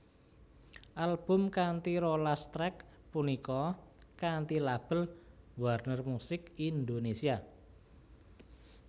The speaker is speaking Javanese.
Album kanthi rolas track punika kanthi label Warner Music Indonesia